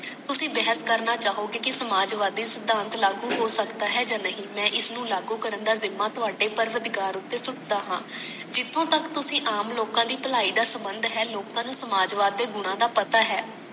ਤੁਸੀ ਬਹਿਸ ਕਰਨਾ ਚਾਹੋਗੇ ਕਿ ਸਮਾਜਬਾਦੀ ਸਿਧਾਂਤ ਲਾਗੂ ਹੋ ਸਕਦਾ ਹੈ ਯਾ ਨਹੀਂ ਮੈਂ ਇਸਨੂੰ ਲਾਗੂ ਕਰਨ ਦਾ ਜਿਮਾ ਥੋੜੇ ਪ੍ਰਵਤਦਿਗਾਰ ਉਤੇ ਸੁੱਟਦਾ ਹਾਂ ਜਿਥੋਂ ਤਕ ਤੁਸੀ ਆਮ ਲੋਕਾਂ ਦੀ ਭਲਾਈ ਦਾ ਸੰਬੰਧ ਹੈ ਲੋਕਾਂ ਨੂੰ ਸਮਾਜਵਾਦਕ ਗੁਣਾਂ ਦਾ ਪਤਾ ਹੈ